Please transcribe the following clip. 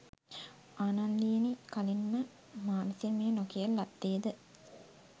ආනන්දයෙනි කලින් ම මා විසින් මෙය නොකියන ලද්දේ ද?